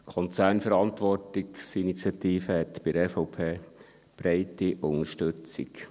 Die Konzernverantwortungsinitiative hat bei der EVP breite Unterstützung.